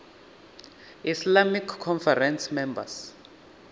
islamic conference members